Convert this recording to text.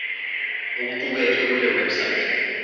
okuqukethwe kule website